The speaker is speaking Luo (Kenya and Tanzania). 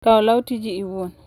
Kaw law tiji iwuon.